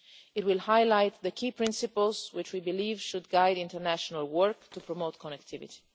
It will highlight the key principles which we believe should guide international work to promote connectivity.